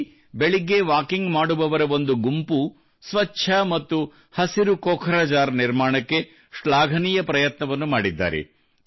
ಇಲ್ಲಿ ಬೆಳಗ್ಗೆ ವಾಕಿಂಗ್ ಮಾಡುವವರ ಒಂದು ಗುಂಪು ಸ್ವಚ್ಛ ಮತ್ತು ಹಸಿರು ಕೋಖ್ರಜಾರ್ ನಿರ್ಮಾಣಕ್ಕೆ ಶ್ಲಾಘನೀಯ ಪ್ರಯತ್ನವನ್ನು ಮಾಡಿದ್ದಾರೆ